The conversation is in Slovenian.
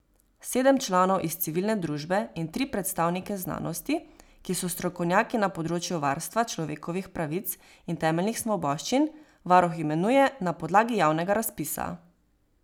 Sedem članov iz civilne družbe in tri predstavnike znanosti, ki so strokovnjaki na področju varstva človekovih pravic in temeljnih svoboščin, varuh imenuje na podlagi javnega razpisa.